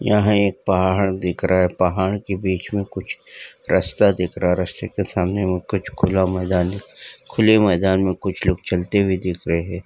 यहाँ एक पहाड़ दिख रहा है पहाड़ के बीच में कुछ रस्ता दिख रहा रस्ते के सामने वहाँ खुला कुछ मैदान दिख खुले मैदान में कुछ लोग चलते हुऐ दिख रहे हैं।